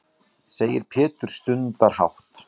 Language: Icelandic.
segir Pétur stundarhátt.